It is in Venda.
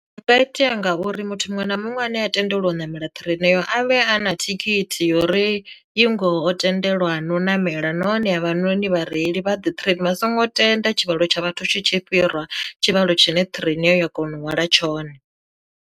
Zwi nga itea ngauri muthu muṅwe na muṅwe ane a tendelwa u ṋamela ṱireini nayo a vhea a na thikhithi yori i ngoho tendelwa na u ṋamela, nahone havhanoni vhareili vha ḓe train a songo tenda tshivhalo tsha vhathu tshi tshi fhira tshivhalo tshine ṱhireina heyo ya kona u hwala tshone.